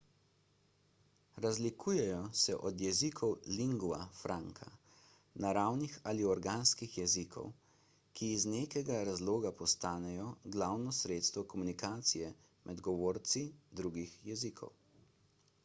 razlikujejo se od jezikov lingua franca naravnih ali organskih jezikov ki iz nekega razloga postanejo glavno sredstvo komunikacije med govorci drugih jezikov